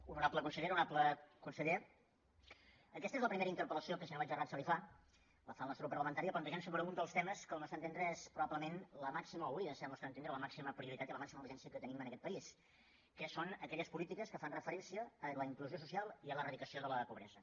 honorable consellera honorable conseller aquesta és la primera interpel·lació que si no vaig errat se li fa la fa el nostre grup parlamentari plantejant un dels temes que al nostre entendre és probablement o hauria de ser al nostre entendre la màxima prioritat i la màxima urgència que tenim en aquest país que són aquelles polítiques que fan referència a la inclusió social i a l’eradicació de la pobresa